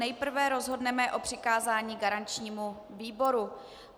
Nejprve rozhodneme o přikázání garančnímu výboru.